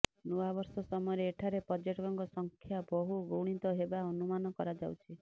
ନୂଆବର୍ଷ ସମୟରେ ଏଠାରେ ପର୍ଯ୍ୟଟକଙ୍କ ସଂଖ୍ୟା ବହୁ ଗୁଣିତ ହେବା ଅନୁମାନ କରାଯାଉଛି